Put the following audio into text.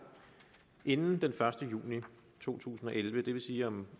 inden den første juni to tusind og elleve det vil sige om